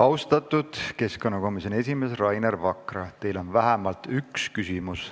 Austatud keskkonnakomisjoni esimees Rainer Vakra, teile on vähemalt üks küsimus.